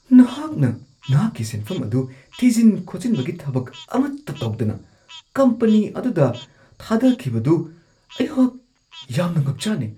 ꯅꯍꯥꯛꯅ ꯅꯍꯥꯛꯀꯤ ꯁꯦꯟꯐꯝ ꯑꯗꯨ ꯊꯤꯖꯤꯟ-ꯈꯣꯠꯆꯤꯟꯕꯒꯤ ꯊꯕꯛ ꯑꯃꯠꯇ ꯇꯧꯗꯅ ꯀꯝꯄꯅꯤ ꯑꯗꯨꯗ ꯊꯥꯗꯈꯤꯕꯗꯨ ꯑꯩꯍꯥꯛ ꯌꯥꯝꯅ ꯉꯛꯆꯥꯟꯅꯩ ꯫